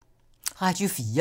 Radio 4